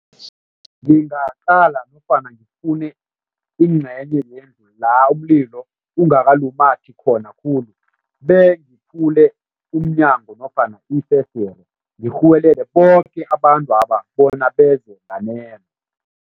Ngingaqala nofana ngifune ingcenye yendlu la umlilo ungakalumathi khona khulu ngiphule umnyango nofana ifesdere, ngirhuwelele boke abantwaba bona beze nganeno.